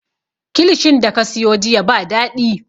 Kilishin da ka siyo jiya ba daɗi